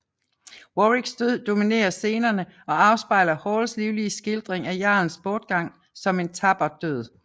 Warwicks død dominerer scenerne og afspejler Halls livlige skildring af jarlens bortgang som en tapper død